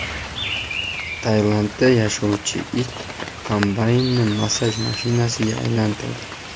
Tailandda yashovchi it kombaynni massaj mashinasiga aylantirdi.